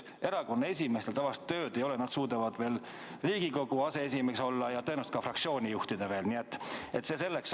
Erakondade esimeestel tavaliselt tööd ei ole, nad suudavad olla veel Riigikogu aseesimees ja tõenäoliselt ka fraktsiooni juhtida, nii et see selleks.